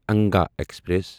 Anga express